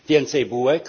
Więcej bułek?